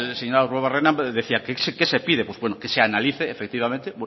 señor arruabarrena decía qué se pide pues bueno que se analice efectivamente